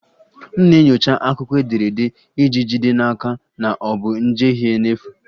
M na-enyocha akụkọ ederede iji jide n'aka na ọ bụ njehie n'efu